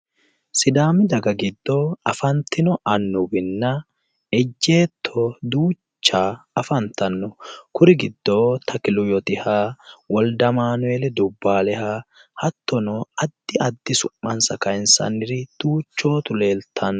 Sidaami daga giddo afantino annuwinna ejeetto duucha afantanno. Kuri giddo tekilu yotiha , w/amanuel dubbaaleha hattono addi addi su'mansa kayinsanniri duuchootu leeltanno.